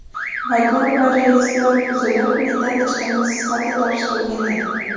Vagon va relslar buzilib, metall chiqindisi sifatida topshirilgan edi.